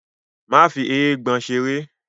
Má fi “eégbọn” seré.!